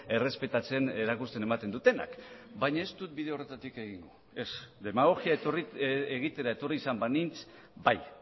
errespetatzen erakusten ematen dutenak baina ez dut bide horretatik egingo ez demagogia egitera etorri izan banintz bai